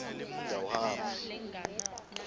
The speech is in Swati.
utawuhamba